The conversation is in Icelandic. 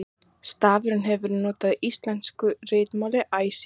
Stafurinn hefur verið notaður í íslensku ritmáli æ síðan.